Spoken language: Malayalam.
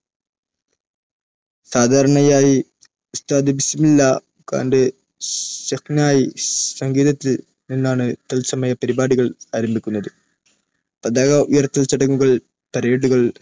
സാധാരണയായി ഉസ്താദ് ബിസ്മില്ല ഖാന്റെ ഷെഹ്നായി സംഗീതത്തിൽ നിന്നാണ് തത്സമയ പരിപാടികൾ ആരംഭിക്കുന്നത്. പതാക ഉയർത്തൽ ചടങ്ങുകൾ, Parade കൾ,